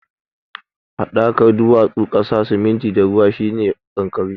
Haɗakar duwatsu, ƙasa, siminti da ruwa shi ne kankare.